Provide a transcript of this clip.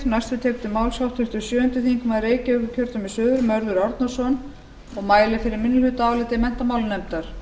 forseti það er rétt ég er hér kominn til að mæla fyrir áliti minni hluta menntamálanefndar